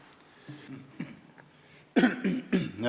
Aitäh!